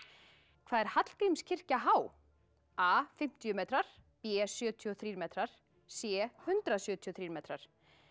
hvað er Hallgrímskirkja há a fimmtíu metrar b sjötíu og þrír metrar c hundrað sjötíu og þrír metrar